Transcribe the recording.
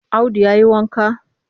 Audu ya yi wanka?